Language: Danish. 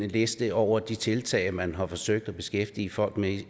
liste over de tiltag man har forsøgt at beskæftige folk med